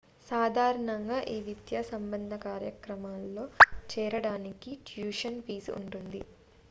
సాధారణంగా ఈ విద్యా సంబంధ కార్యక్రమాల్లో చేరడానికి ట్యూషన్ ఫీజు ఉంటుంది